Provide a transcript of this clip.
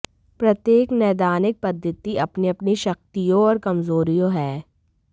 प्रत्येक नैदानिक पद्धति अपनी अपनी शक्तियों और कमजोरियों है